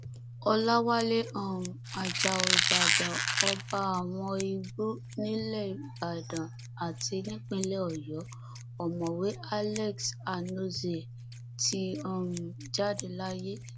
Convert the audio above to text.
ọlàwálẹ um ajáò ìbàdàn ọba àwọn igbó nílẹ ìbàdàn àti nípínlẹ ọyọ ọmọwé alex anozie ti um jáde láyé